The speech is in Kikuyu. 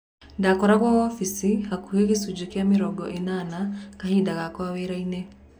Ndakoragwo wobici hakuki gicunji kia mĩrongo enana kahinda gake wiraini.